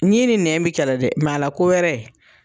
Ɲin ni nɛn bi kɛlɛ dɛ, a la ko wɛrɛ